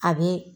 A bɛ